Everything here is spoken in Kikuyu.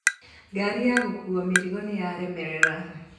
Ngari ya gũkuua mĩrigo nĩyaremerera